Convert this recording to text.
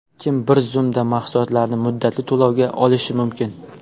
Kim bir zumda mahsulotlarni muddatli to‘lovga olishi mumkin?